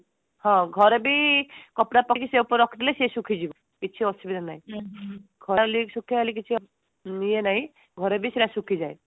ହଁ ଘରେ ବି କପଡା ପକେଇ ସେ ଉପରେ ରଖିଦେଲେ ସିଏ ଶୁଖିଯିବ କିଛି ଅସୁବିଧା ନାଇଁ ଖରାହେଲେ ବି ଶୁଖିବା ହେଲେକି କିଛି ଇଏ ନାଇଁ ଘରେ ବି ସେଟା ଶୁଖିଯାଏ